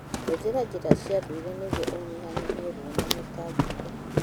Hũthĩra njĩra cia ndũire nĩguo ũnyihanyihie ruo na mĩtangĩko.